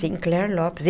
Sinclair Lopes.